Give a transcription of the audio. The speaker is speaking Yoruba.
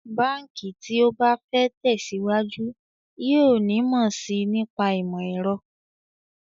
Báǹkì tí ó bá fẹ́ tẹ̀síwájú yóò nímọ̀ sí i nípa ìmọ̀ ẹ̀rọ